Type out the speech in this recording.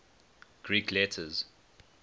greek letters